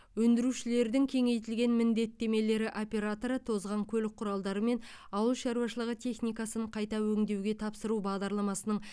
өндірушілердің кеңейтілген міндеттемелері операторы тозған көлік құралдары мен ауылшаруашылығы техникасын қайта өңдеуге тапсыру бағдарламасының